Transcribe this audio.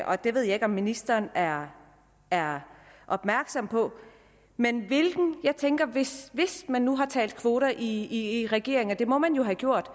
og det ved jeg ikke om ministeren er er opmærksom på men hvis man nu har talt om kvoter i regeringen og det må man jo have gjort